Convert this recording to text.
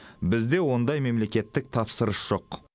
бізде ондай мемлекеттік тапсырыс жоқ